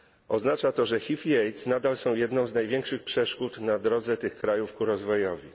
Oznacza to, że HIV i AIDS nadal są jedną z największych przeszkód na drodze tych krajów ku rozwojowi.